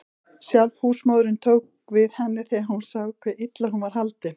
Sjálf húsmóðirin tók við henni þegar hún sá hve illa hún var haldin.